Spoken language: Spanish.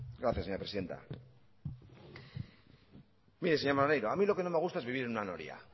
gracias señora presidenta mire señor maneiro a mí lo que no me gusta es vivir en una noria